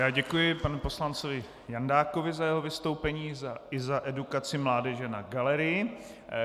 Já děkuji panu poslanci Jandákovi za jeho vystoupení i za edukaci mládeže na galerii.